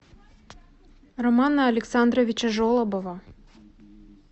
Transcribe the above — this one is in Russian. романа александровича жолобова